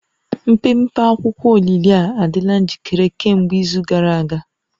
Mpempe akwụkwọ olili a adịla njikere kemgbe izu gara aga